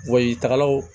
Wayitagalaw